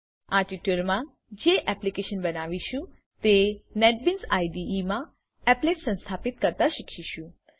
આ ટ્યુટોરીયલમા જે એપ્લીકેશન બનાવીશું તે નેટબીન્સ આઇડીઇ માં એપ્લેટ્સ સંસ્થાપિત કરતા શીખીશું